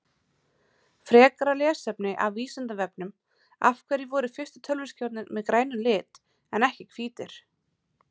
Frekara lesefni af Vísindavefnum Af hverju voru fyrstu tölvuskjáirnir með grænum lit en ekki hvítir?